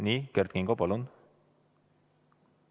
Nii, Kert Kingo, palun!